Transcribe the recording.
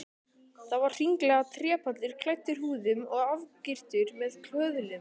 Það var hringlaga trépallur, klæddur húðum og afgirtur með köðlum.